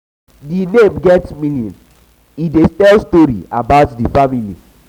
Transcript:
di name get meaning e dey tell story about di family.